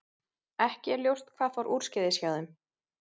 Ekki er ljóst hvað fór úrskeiðis hjá þeim.